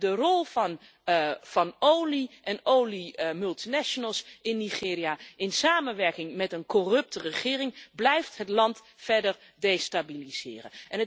De rol van olie en oliemultinationals in Nigeria, in samenwerking met een corrupte regering, blijft het land verder destabiliseren.